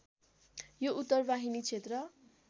यो उत्तरवाहिनी क्षेत्र